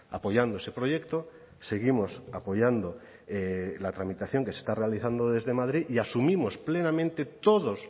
apoyando ese proyecto seguimos apoyando la tramitación que se está realizando desde madrid y asumimos plenamente todos